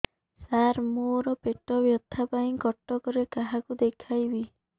ସାର ମୋ ର ପେଟ ବ୍ୟଥା ପାଇଁ କଟକରେ କାହାକୁ ଦେଖେଇବି